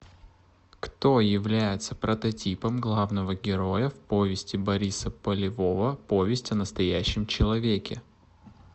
кто является прототипом главного героя в повести бориса полевого повесть о настоящем человеке